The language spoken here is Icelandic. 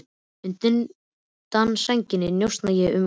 Undan sænginni njósna ég um útsýnið.